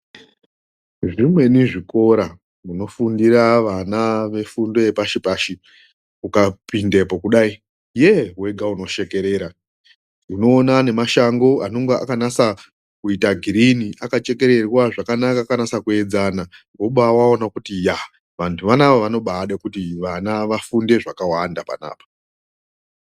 Zvimweni zvikora zvinofundira vana vefundo yepashipashi, ukapindepo kudai yeh! wega unoshekerera unoona nemashango anonga akanasa kuita green akachekererwa zvakanaka akanasa kuedzana woba waona kuti yah! vantu vanaa vanoba ade kuti vana vafunde zvakawanda pana apa.